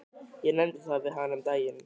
Ég nefndi það við hana um daginn.